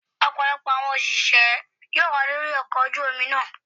Ọ̀pọ̀lọpọ̀ àwọn òṣìṣẹ́ yóò wà lórí ọkọ ojú omi náà.